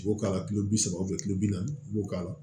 U b'o k'a la kulo bi saba kulo bi naani i b'o k'a la